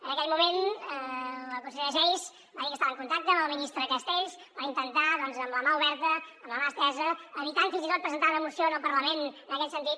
en aquell moment la consellera geis va dir que estava en contacte amb el ministre castells per intentar doncs amb la mà oberta amb la mà estesa evitant fins i tot presentar una moció al parlament en aquest sentit